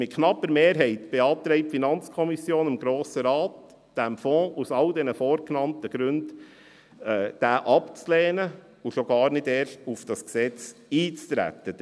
Mit knapper Mehrheit beantragt die FiKo dem Grossen Rat, diesen Fonds aus all den vorgenannten Gründen abzulehnen und schon gar nicht erst auf das Gesetz einzutreten.